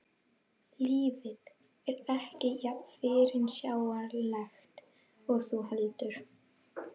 Lífið er ekki jafn fyrirsjáanlegt og þú heldur.